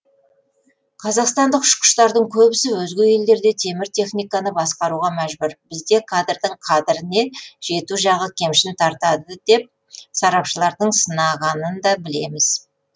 қазақстандық ұшқыштардың көбісі өзге елдерде темір техниканы басқаруға мәжбүр бізде кадрдің қадіріне жету жағы кемшін тартады деп сарапшылардың сынағанында білеміз